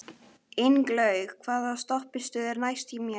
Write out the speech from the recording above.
Ingilaug, hvaða stoppistöð er næst mér?